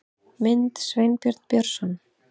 Mynd: Sveinbjörn Björnsson